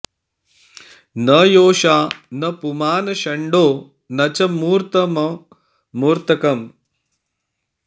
न योषा न पुमान् षण्डो न च मूर्तममूर्तकम्